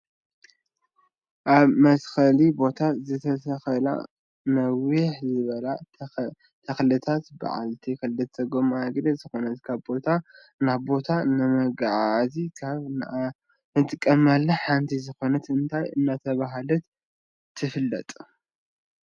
ኣብ መትከሊ ቦታ ዝተተከላ ንውሕ ዝበላ ተክልታትን ብዓልቲ ክልተ ጎማ እግሪ ዝኮነት ካብ ቦታ ናብ ቦታ ንመጋዓዓዚ ካብ ንጥቀመላ ሓንቲ ዝኮነት እንታይ እናተባህለት ትፍለጥ?